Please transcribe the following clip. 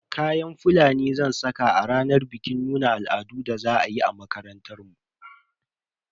Kayan Fulani zan saka a ranar bikin nuna al'adun da za a yi a makarantar mu.